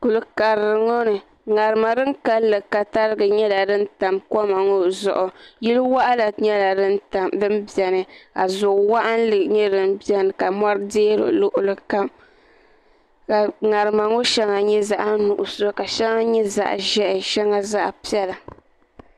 kuli karili ŋo ni ŋarima din kanli ka tarigi nyɛla din tam koma ŋo zuɣu yili waɣala nyɛla din biɛni ka zo waɣala nyɛ din biɛni ka mori deei luɣuli kam ka ŋarima ŋo shɛŋa nyɛ zaɣ nuɣso ka shɛli nyɛ zaɣ ʒiɛhi shɛli zaɣ piɛla